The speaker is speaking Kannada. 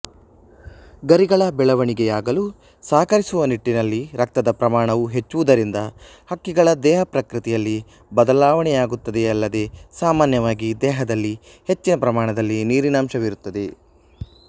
ಗರಿಗಳ ಬೆಳವಣಿಗೆಯಾಗಲು ಸಹಕರಿಸುವ ನಿಟ್ಟಿನಲ್ಲಿ ರಕ್ತದ ಪ್ರಮಾಣವು ಹೆಚ್ಚುವುದರಿಂದ ಹಕ್ಕಿಗಳ ದೇಹಪ್ರಕೃತಿಯಲ್ಲಿ ಬದಲಾವಣೆಯಾಗುತ್ತದೆಯಲ್ಲದೇ ಸಾಮಾನ್ಯವಾಗಿ ದೇಹದಲ್ಲಿ ಹೆಚ್ಚಿನ ಪ್ರಮಾಣದಲ್ಲಿ ನೀರಿನಂಶವಿರುತ್ತದೆ